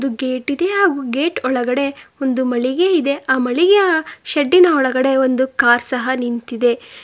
Gate ಇದೆ ಹಾಗು gate ಒಳಗಡೆ ಒಂದು ಮಳಿಗೆ ಇದೆ ಆ ಮಳಿಗೆಯ ಶಡ್ಡಿನ ಒಳಗಡೆ ಒಂದು ಕಾರ್ ಸಹ ನಿಂತಿದೆ.